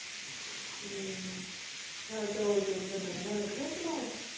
ਹੂ ਨਾਲ ਚੋਲ ਚੂਲ ਬੰਦਾ ਬਣਾ ਲਏ ਨਹੀਂ ਕੇ ਇਹਦੇ ਨਾਲ